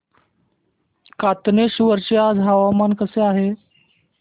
कातनेश्वर चे आज हवामान कसे आहे